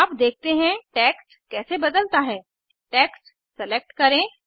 अब देखते हैं टेक्स्ट कैसे बदलता है टेक्स्ट सेलेक्ट करें